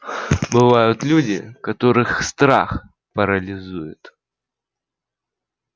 бывают люди которых страх парализует